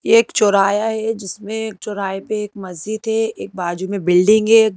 ये एक चौराया है जिसमें एक चौराहे पे एक मस्जिद है एक बाजू में बिल्डिंग है।